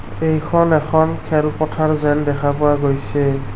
এইখন এখন খেল পথাৰ যেন দেখা পোৱা গৈছে।